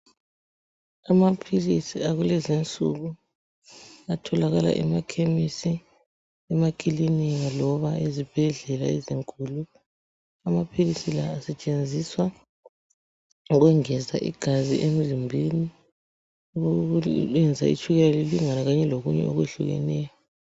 Amaphilisi akulezi insuku. Atholakala emakhemisi, emakilinika, loba ezibhedlela ezinkulu. Amaphilisi la asetshenziswa ukwengeza igazi emzimbeni. Ukwenza itshukeka lilingane, kanye lokunye okwehlukeneyo.